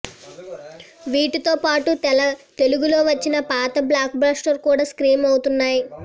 వీటితో పాటు తెలుగులో వచ్చిన పాత బ్లాక్ బస్టర్లు కూడా స్ట్రీమ్ అవుతున్నాయి